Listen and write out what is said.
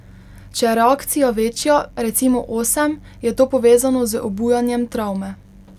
Če je reakcija večja, recimo osem, je to povezano z obujanjem travme.